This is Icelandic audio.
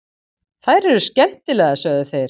Þær eru skemmtilegar, sögðu þeir.